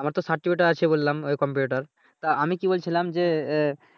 আমার তো সার্টিফিকেট আছে বললাম ওই কম্পিউটার তা আমি কি বলছিলাম যে এ